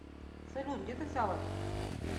салют где ты взял это